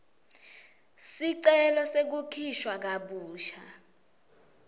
sicelo sekukhishwa kabusha